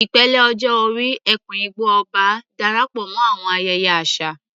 Ìpele ọjọ́ orí "Eku-Igbo-Oba" Darapọ̀ mọ́ àwọn ayẹyẹ àṣà